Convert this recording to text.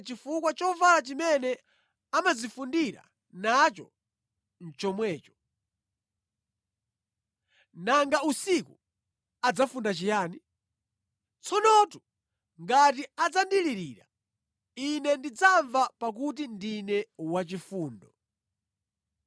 chifukwa chovala chimene amadzifundira nacho nʼchomwecho. Nanga usiku adzafunda chiyani? Tsonotu ngati adzandilirira, Ine ndidzamva pakuti ndine wachifundo.